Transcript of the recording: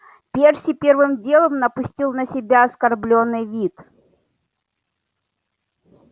перси первым делом напустил на себя оскорблённый вид